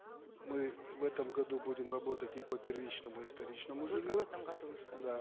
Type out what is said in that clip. мы в этом году будем работать и по первичному и вторичному жилью только в этом году вы сказали да